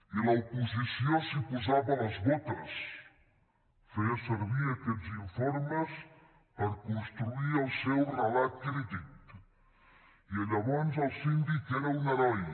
i l’oposició s’hi posava les botes feia servir aquests informes per construir el seu relat crític i llavors el síndic era un heroi